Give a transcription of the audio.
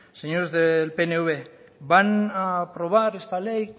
señores del pnv van a aprobar esta ley